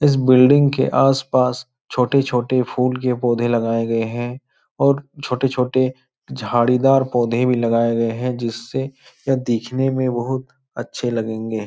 इस बिल्डिंग के आस-पास छोटे-छोटे फूल के पौधे लगाये गए हैं और छोटे-छोटे झाड़ीदार पौधे भी लगाये गए हैं जिससे यह दिखने में बहोत अच्छे लगेंगे।